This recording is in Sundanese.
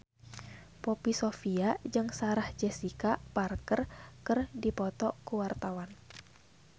Poppy Sovia jeung Sarah Jessica Parker keur dipoto ku wartawan